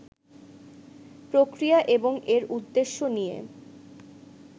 প্রক্রিয়া এবং এর উদ্দেশ্য নিয়ে